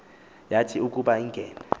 yathi ukuba ingene